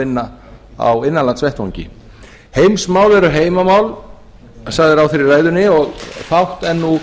vinna á innanlandsverkefni heimsmál eru heimamál sagði ráðherra í ræðunni og fátt er nú